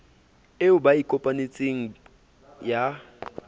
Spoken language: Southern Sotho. eo ba e kopanetseng ya